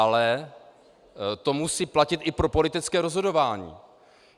Ale to musí platit i pro politické rozhodování.